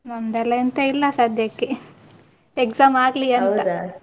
ನಮ್ದೆಲ್ಲಾ ಎಂತ ಇಲ್ಲ ಸದ್ಯಕ್ಕೆ, exam ಆಗ್ಲಿ .